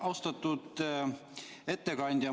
Austatud ettekandja!